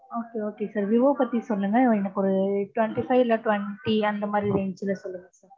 Okay okay sir below thirty ல சொல்லுங்க எனக்கு ஒரு twenty five இல்ல twenty அந்த மாதிரி range ல சொல்லுங்க.